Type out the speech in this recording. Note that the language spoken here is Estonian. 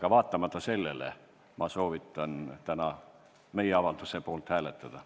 Ent vaatamata sellele soovitan ma täna meie avalduse poolt hääletada.